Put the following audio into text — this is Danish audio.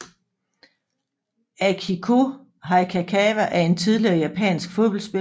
Akiko Hayakawa er en tidligere japansk fodboldspiller